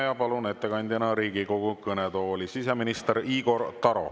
Ma palun ettekandjana Riigikogu kõnetooli siseminister Igor Taro.